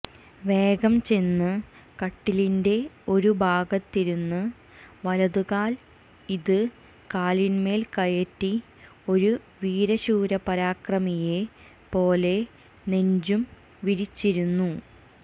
വേഗം ചെന്ന് കട്ടിലിന്റെ ഒരു ഭാഗത്തിരുന്ന് വലത് കാൽ ഇത് കാലിൻമേൽ കയറ്റി ഒരു വീരശൂരപരാക്രമിയെ പോലെ നെഞ്ചും വിരിച്ചിരുന്നു